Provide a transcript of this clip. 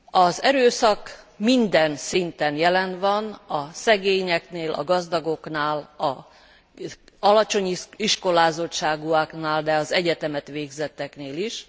Az erőszak minden szinten jelen van a szegényeknél, a gazdagoknál, az alacsony iskolázottságúaknál, de az egyetemet végzetteknél is.